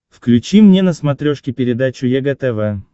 включи мне на смотрешке передачу егэ тв